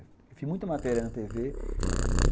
Eu fiz muita matéria na tê vê